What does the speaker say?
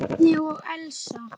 Bjarni og Elsa.